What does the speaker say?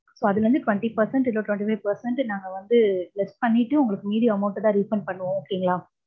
so அதுல இருந்து twenty percent இல்ல twenty five percent நாங்க வந்து less பன்னிட்டு, உங்களுக்கு மீதி amount அ தான் refund பண்ணுவோம் okay ங்களா.